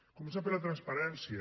començant per la transparència